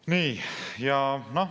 " Nii.